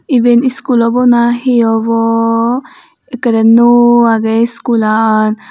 iben iskul obow na he obow ekkrey nuo agey iskulaan.